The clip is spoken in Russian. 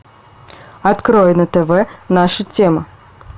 открой на тв наша тема